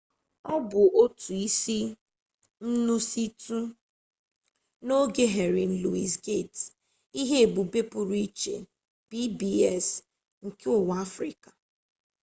ọ bụ otu isi nkwụsịtụ n'oge henry louis gates ihe-ebube pụrụ iche pbs nke ụwa afrịka